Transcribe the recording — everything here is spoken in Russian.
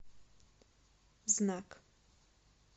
знак